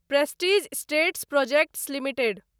prestige Estates Projects limited